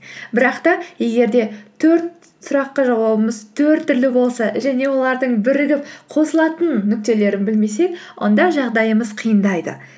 бірақ та егер де төрт сұраққа жауабымыз төрт түрлі болса және олардың бірігіп қосылатын нүктелерін білмесек онда жағдайымыз қиындайды